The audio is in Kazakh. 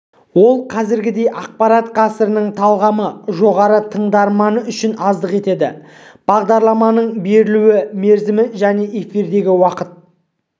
ол қазіргідей ақпарат ғасырының талғамы жоғары тыңдарманы үшін аздық етеді бағдарламаның берілу мерзімі және эфирдегі уақыты